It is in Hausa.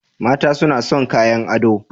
Mata suna son kayan ado